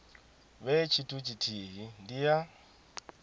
vhe tshithu tshithihi ndi ya